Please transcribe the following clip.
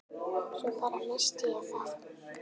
Svo bara. missti ég það.